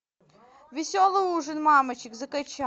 веселый ужин мамочек закачай